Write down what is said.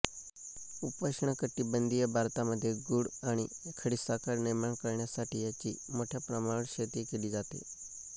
उपोष्ण कटिबंधीय भारतामध्ये गूळ आणि खडीसाखर निर्माण करण्यासाठी याची मोठ्या प्रमाणावर शेती केली जाते